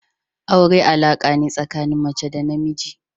Aure alaƙa ne tsakanin mace da na namiji.